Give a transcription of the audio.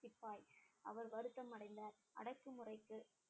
சிப்பாய் அவர் வருத்தம் அடைந்தார் அடக்குமுறைக்கு